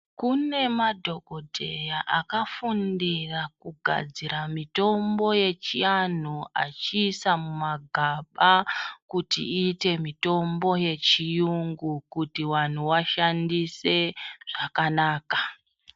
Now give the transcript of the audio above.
Kune madhogodheya akafundira kugadzira mitombo yechiantu echiisa mumagaba, kuti iite mitombo yechiyungu, kuti vanhu vashandise zvakanaka.